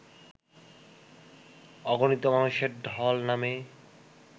অগণিত মানুষের ঢল নামে